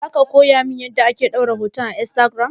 Zaka koya mun yanda ake ɗora hotuna a instagiram?